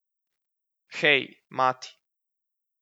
Hej, mati!